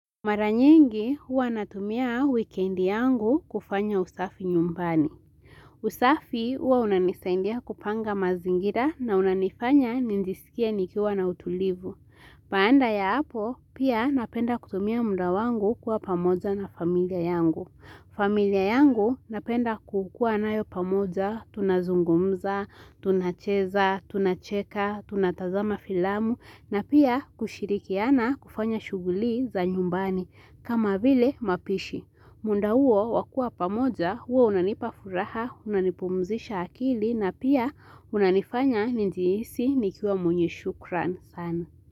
Mara nyingi huwa natumia wikendi yangu kufanya usafi nyumbani. Usafi huwa unanisaindia kupanga mazingira na unanifanya nijisikie nikiwa na utulivu. Baanda ya hapo pia napenda kutumia muda wangu kuwa pamoja na familia yangu. Familia yangu napenda kukua nayo pamoja, tunazungumza, tunacheza, tunacheka, tunatazama filamu na pia kushirikiana kufanya shuguli za nyumbani kama vile mapishi. Munda huo wakua pamoja, huwa unanipafuraha, unanipumzisha akili na pia unanifanya ni jihisi nikiwa mwenye shukran sana.